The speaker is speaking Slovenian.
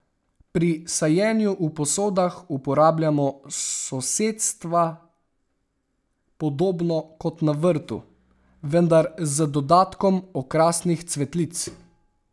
Pri sajenju v posodah uporabljamo sosedstva podobno kot na vrtu, vendar z dodatkom okrasnih cvetlic.